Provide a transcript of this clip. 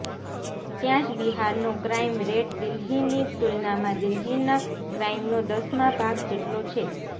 ત્યાં જ બિહારનો ક્રાઇમ રેટ દિલ્હીની તુલનામાં દિલ્હીના ક્રાઇમનો દસમાં ભાગ જેટલો છે